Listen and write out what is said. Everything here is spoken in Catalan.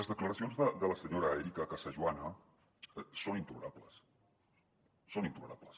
les declaracions de la senyora erika casajoana són intolerables són intolerables